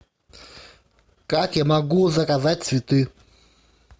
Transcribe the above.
как я могу заказать цветы